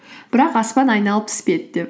бірақ аспан айналып түспеді деп